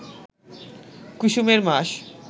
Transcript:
কুসুমের মাস